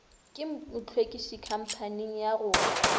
ka mohlwekiši khamphaning ya go